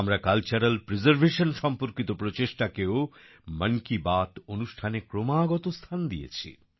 আমরা cultural preservation সম্পর্কিত প্রচেষ্টাকেও মন কি বাত অনুষ্ঠানে ক্রমাগত স্থান দিয়েছি